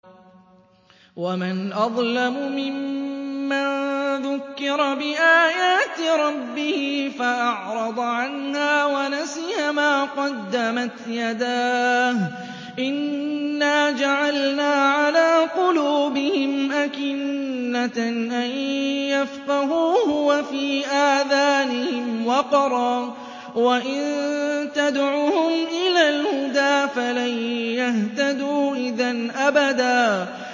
وَمَنْ أَظْلَمُ مِمَّن ذُكِّرَ بِآيَاتِ رَبِّهِ فَأَعْرَضَ عَنْهَا وَنَسِيَ مَا قَدَّمَتْ يَدَاهُ ۚ إِنَّا جَعَلْنَا عَلَىٰ قُلُوبِهِمْ أَكِنَّةً أَن يَفْقَهُوهُ وَفِي آذَانِهِمْ وَقْرًا ۖ وَإِن تَدْعُهُمْ إِلَى الْهُدَىٰ فَلَن يَهْتَدُوا إِذًا أَبَدًا